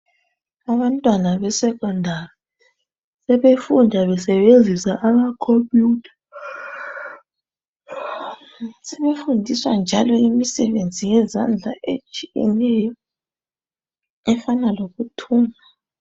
Abantwana beSekhondari sebefunda besebenzisa ama Khompiyutha. Sebefundiswa njalo imisebenzi yezandla etshiyeneyo efana lokuthunga.